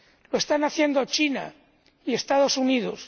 Lo están haciendo China y los Estados Unidos.